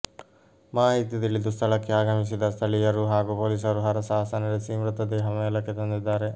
ಮಾಹಿತಿ ತಿಳಿದು ಸ್ಥಳಕ್ಕೆ ಆಗಮಿಸಿದ ಸ್ಥಳೀಯರು ಹಾಗೂ ಪೊಲೀಸರು ಹರಸಾಹಸ ನಡೆಸಿ ಮೃತದೇಹ ಮೇಲಕ್ಕೆ ತಂದಿದ್ದಾರೆ